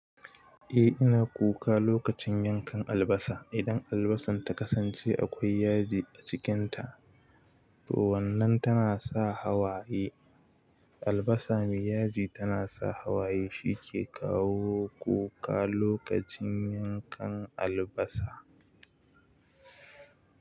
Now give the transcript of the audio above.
Eh ina kuka lokacin yankan albasa. Idan albasan ta kasance akwai yaji a cikinta, to wannan tana sa hawaye. Albasa mai yaji tana sa hawaye, shi ke kawo kuka lokacin yankan albasa.